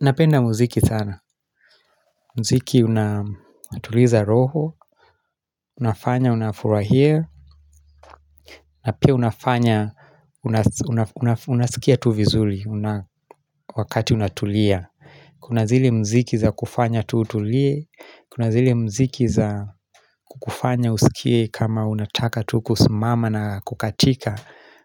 Napenda muziki sana muziki unatuliza roho Unafanya unafurahia na pia unafanya Unasikia tu vizuri Wakati unatulia Kuna zile muziki za kufanya tu utulie Kuna zile muziki za kufanya usikie kama unataka tuu kusimama na kukatika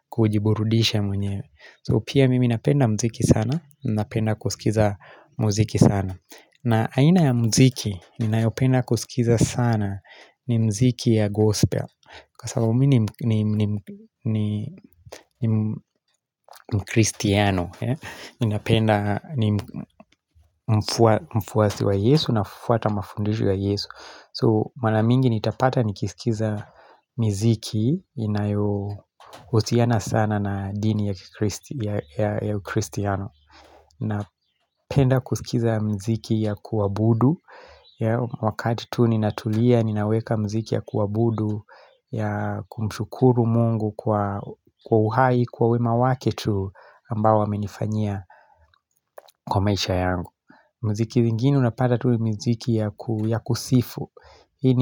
kujiburudisha mwenyewe So pia mimi napenda muziki sana Napenda kusikiliza muziki sana na aina ya muziki ninayopenda kusikiliza sana ni muziki ya gospel Kwasababu mimi ni mkristiano napenda mfuasi wa yesu na fuata mafundisho wa yesu So maramingi nitapata nikisikiliza miziki inayohusiana sana na dini ya ukristiano na penda kusikiliza muziki ya kuabudu Wakati tu ninatulia, ninaweka muziki ya kuabudu ya kumshukuru mungu kwa uhai, kwa wema wake tu ambao amenifanyia kwa maisha yangu muziki zingine unapata tu miziki ya kusifu Hii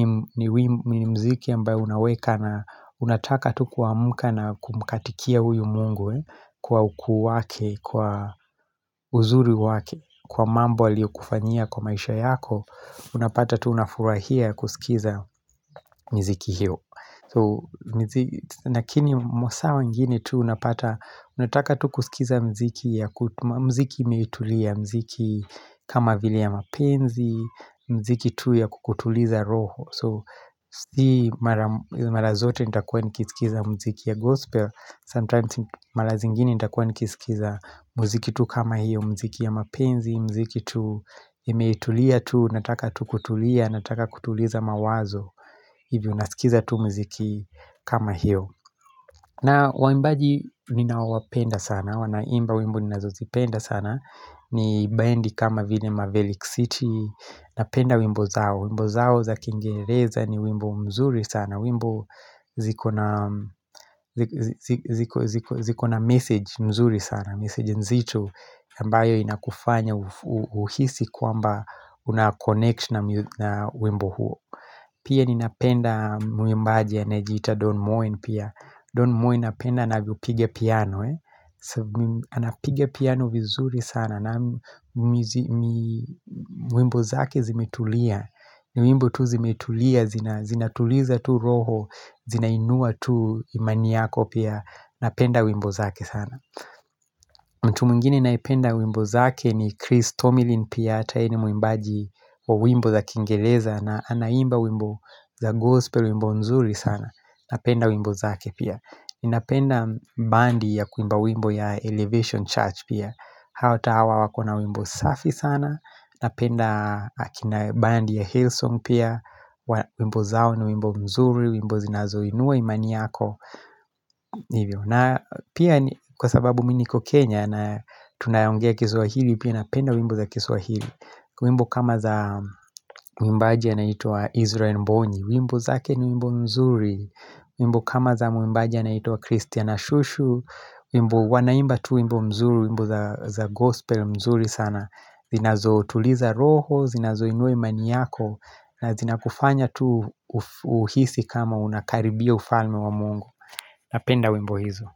ni muziki ambayo unaweka na unataka tu kuamka na kumkatikia huyu mungu Kwa ukuu wake, kwa uzuri wake Kwa mambo aliyo kufanyia kwa maisha yako Unapata tuu unafurahia kusikiliza miziki hiyo lakini mwasaa wengine tu unapata unataka tu kusikiliza muziki ya muziki imetulia muziki kama vile ya mapenzi muziki tu ya kukutuliza roho So siyo mara zote nita kuwa niki sikiliza muziki ya gospel Sometimes mara zingine nita kuwa niki sikiliza muziki tu kama hiyo muziki ya mapenzi, muziki tu imetulia tu, nataka tu kutulia, nataka kutuliza mawazo hivyo nasikiliza tu muziki kama hiyo na waimbaji ninaowapenda sana wanaimba wimbo ninazozipenda sana ni bendi kama vile mavelic city napenda wimbo zao, wimbo zao za kingereza ni wimbo mzuri sana wimbo zikona zikona zikona message mzuri sana message nzito ambayo inakufanya uhisi kwamba unaconnection na wimbo huo Pia ninapenda mwimbaji anajita Don Moen pia Don Moen napenda anavyo piga piano Anapiga piano vizuri sana na mwimbo zake zimetulia wimbo tu zimetulia, zinatuliza tu roho, zinainua tu imaniyako pia Napenda wimbo zake sana mtu mwingine ninayependa wimbo zake ni Chris Tomilin pia hata yeye ni mwimbaji wa wimbo za kingereza na anaimba wimbo za gospel wimbo nzuri sana Napenda wimbo zake pia ninapenda band ya kuimba wimbo ya Elevation Church pia Hata hawa wakona wimbo safi sana Napenda bandi ya Hillsong pia wimbo zao ni wimbo mzuri wimbo zinazo inua imani yako na pia kwa sababu mimi niko Kenya na tunaongea kiswahili pia napenda wimbo za kiswahili wimbo kama za mwimbaji anaitwa Israel Mbonyi wimbo zake ni wimbo mzuri wimbo kama za mwimbaji anaitwa christina Shusho wimbo wanaimba tu wimbo mzuri, wimbo za gospel mzuri sana zinazo tuliza roho, zinazo inua mani yako na zinakufanya tu uhisi kama unakaribia ufalme wa mungu Napenda wimbo hizo.